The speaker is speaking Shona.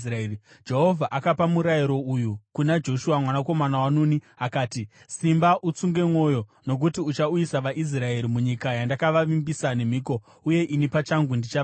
Jehovha akapa murayiro uyu kuna Joshua mwanakomana waNuni akati, “Simba utsunge mwoyo, nokuti uchauyisa vaIsraeri munyika yandakavavimbisa nemhiko, uye ini pachangu ndichava newe.”